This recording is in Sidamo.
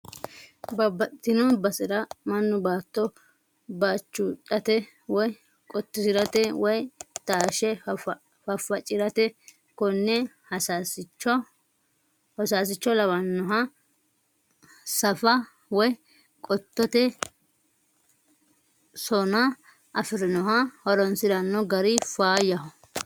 Babbaxitino basera mannu baatto bachudhate woyi qotisirate woyi tashe fafacirate kone hosasicho lawanoha saafa woyi qottote sona afirinoha horonsirano gari faayyaho.